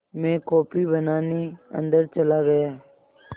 मैं कॉफ़ी बनाने अन्दर चला गया